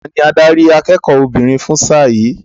Tani adarí akẹ́kọ̀ọ́ obìnrin fún sáà yìí?